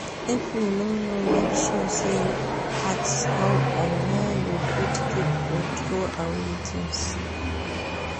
If you no know make sure say ask how and where you fit keep or troway things